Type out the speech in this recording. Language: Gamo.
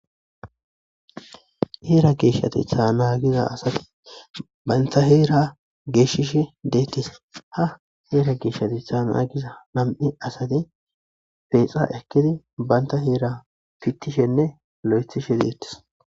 heera geeshshatstha nagiza asati baynta heera geeshishe deettis ha heera geeshshati thaana giza nam7i asati feexa ekkidi baynta heera pittishenne lo7ethishe deettis.